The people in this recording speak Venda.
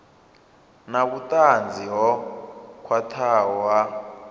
na vhutanzi ho khwathaho ha